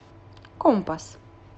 компас